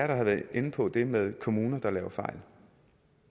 der er inde på det med kommuner der laver fejl